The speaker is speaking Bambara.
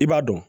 I b'a dɔn